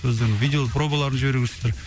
өздерің видео пробаларын жіберу керексіздер